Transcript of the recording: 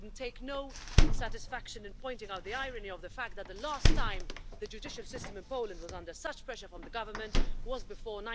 I take no satisfaction in pointing out the irony of the fact that the last time the judicial system in Poland was under such pressure from the government was before